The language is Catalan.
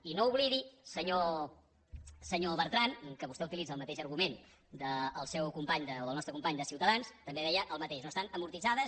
i no oblidi senyor bertran que vostè utilitza el mateix argument del seu company o del nostre company de ciutadans que també deia el mateix no que estan amortitzades